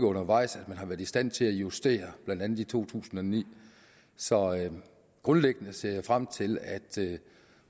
undervejs har været i stand til at justere det blandt andet i to tusind og ni så grundlæggende ser jeg frem til at